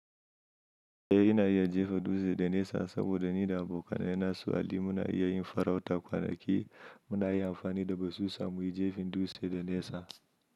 Eh ina iya jefa dutse da nesa saboda ni da abokanai na su Ali muna iya yin farauta kwana ki muna iya amfani da basusa muyi jefin dutse da nesa.